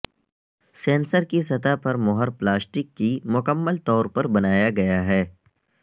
sensor کی سطح پر مہر پلاسٹک کی مکمل طور پر بنایا گیا ہے